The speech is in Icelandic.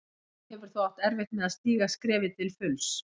Hann hefur þó átt erfitt með að stíga skrefið til fulls.